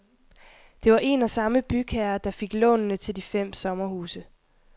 Det var en og samme bygherre, der fik lånene til de fem sommerhuse.